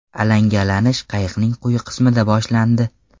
Alangalanish qayiqning quyi qismida boshlandi.